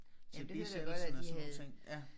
Til bisættelsen og sådan nogle ting